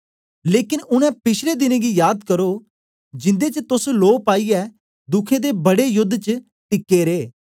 लेकन उनै पिछले दिनें गी याद करो जिन्दे च तोस लो पाईयै दुखें दे बडे योद्द च टिके रे